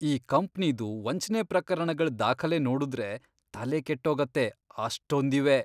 ಈ ಕಂಪ್ನಿದು ವಂಚ್ನೆ ಪ್ರಕರಣಗಳ್ ದಾಖಲೆ ನೋಡುದ್ರೆ ತಲೆ ಕೆಟ್ಟೋಗತ್ತೆ, ಅಷ್ಟೊಂದಿವೆ.